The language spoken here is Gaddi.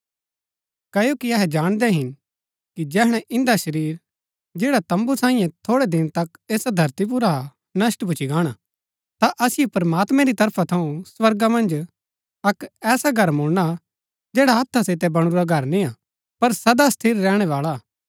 क्ओकि अहै जाणदै हिन कि जैहणै इन्दा शरीर जैड़ा तम्बू सांईये थोड़ै दिना तक ऐसा धरती पुर हा नष्‍ट भूच्ची गाणा ता असिओ प्रमात्मैं री तरफा थऊँ स्वर्गा मन्ज अक्क ऐसा घर मुळणा जैडा हत्था सितै बणुरा घर निय्आ पर सदा स्थिर रहणैबाळा हा